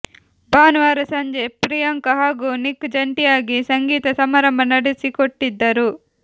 ಭಾನುವಾರ ಸಂಜೆ ಪ್ರಿಯಾಂಕಾ ಹಾಗೂ ನಿಕ್ ಜಂಟಿಯಾಗಿ ಸಂಗೀತ ಸಮಾರಂಭ ನಡೆಸಿಕೊಟ್ಟಿದ್ದರು